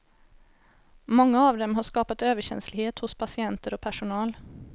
Många av dem har skapat överkänslighet hos patienter och personal.